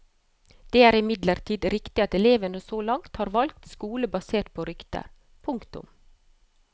Det er imidlertid riktig at elevene så langt har valgt skole basert på rykter. punktum